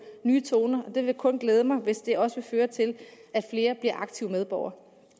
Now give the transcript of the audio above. nye toner og det vil kun glæde mig hvis det også vil føre til at flere bliver aktive medborgere